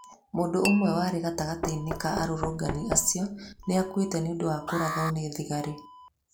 Mũndũ ũmwe warĩ gatagatĩ ka arūrūngan acio nĩ akuĩte nĩ ũndũ wa kūrathwo nĩ thigari.